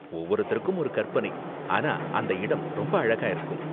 ஒவ்வொருத்தருக்கும் ஒரு கற்பனை, ஆனா அந்த இடம் ரொம்ப அழகா இருக்கும்.